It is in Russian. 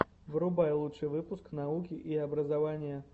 врубай лучший выпуск науки и образования